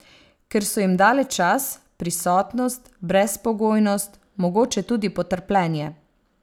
Ker so jim dale čas, prisotnost, brezpogojnost, mogoče tudi potrpljenje.